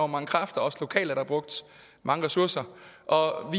mange kræfter og også lokalt er der brugt mange ressourcer og